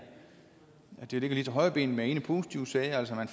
ligger lige til højrebenet med ene positive sager altså man